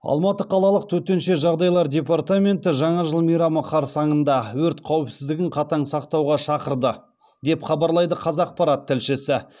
алматы қалалық төтенше жағдайлар департаменті жаңа жыл мейрамы қарсаңында өрт қауіпсіздігін қатаң сақтауға шақырды деп хабарлайды қазақпарат тілшісі